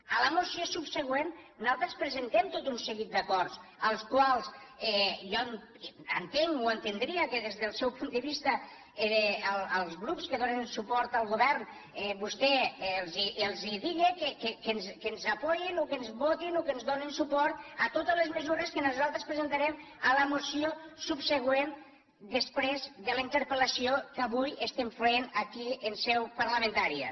a la moció subsegüent nosaltres presentem tot un seguit d’acords als quals jo entenc o entendria que des del seu punt de vista els grups que donen suport al govern vostè els digue que ens donin suport que ens votin o que ens donin suport a totes les mesures que nosaltres presentarem a la moció subsegüent després de la interpel·lació d’avui que estem fent avui aquí en seu parlamentària